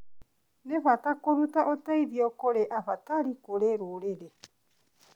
Nĩ bata kũruta ũteithio kũrĩ abatari kũrĩ rũrĩrĩ.